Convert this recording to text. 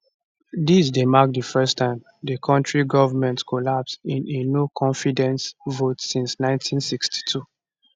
dis dey mark di first time di kontri govment collapse in a noconfidence vote since 1962